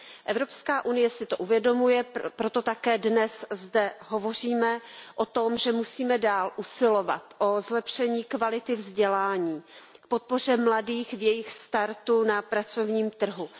Evropská unie si to uvědomuje, proto zde také dnes hovoříme o tom, že musíme dále usilovat o zlepšení kvality vzdělání, o podpoře mladých v jejich startu na pracovním trhu.